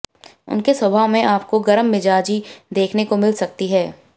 उनके स्वभाव में आपको गर्ममिजाजी देखने को मिल सकती है